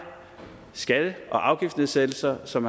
skatte og afgiftsnedsættelser som